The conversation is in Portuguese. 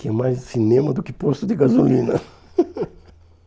Tinha mais cinema do que posto de gasolina.